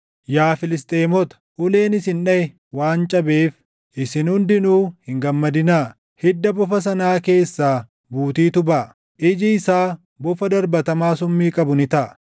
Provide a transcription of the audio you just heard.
Yaa Filisxeemota, uleen isin dhaʼe waan cabeef, isin hundinuu hin gammadinaa; hidda bofa sanaa keessaa buutiitu baʼa; iji isaa bofa darbatamaa summii qabu ni taʼa.